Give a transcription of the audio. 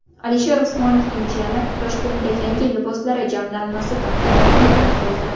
Alisher Usmonovning jiyani Toshkentda yangi liboslari jamlanmasi taqdimotini o‘tkazdi .